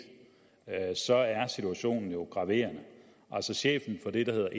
så er situationen jo graverende chefen for det der hedder